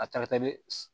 A ca ka taa de